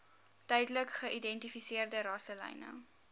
duidelik geïdentifiseerde rasselyne